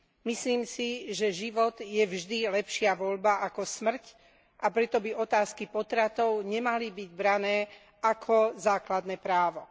Myslím si, že život je vždy lepšia voľba ako smrť, a preto by otázky potratov nemali byť brané ako základné právo.